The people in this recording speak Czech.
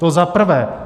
To za prvé.